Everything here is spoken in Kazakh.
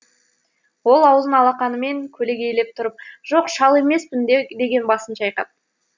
ол аузын алақанымен көлегейлей тұрып жоқ шал емеспін деген басын шайқап